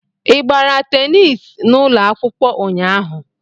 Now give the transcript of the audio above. Ị gbara tenis n'ụlọ akwụkwọ ụnyaahụ?